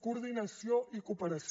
coordinació i cooperació